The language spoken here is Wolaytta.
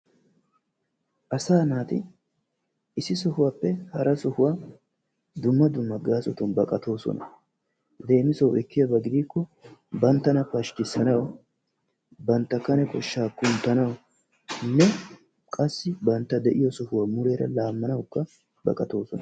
Asaa naati issi sohuwappe hara sohuwa dumma dumma gaasotun baqatoosona, leemissuwa ekkiyaba gidikko banttana pashikkissanawu, bantta Kane koshshaa kunttanawunne qassi bantta de'iyo sohuwa muleera laamanawukka baqatoosona.